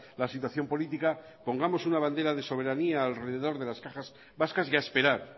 la situación política pongamos una bandera de soberanía alrededor de las cajas vascas y a esperar